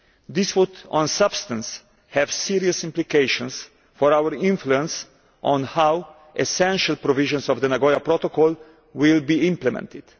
This would, in substance, have serious implications for our influence on how essential provisions of the Nagoya Protocol will be implemented.